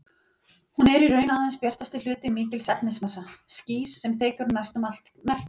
Hún er í raun aðeins bjartasti hluti mikils efnismassa, skýs, sem þekur næstum allt merkið.